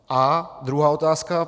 A druhá otázka.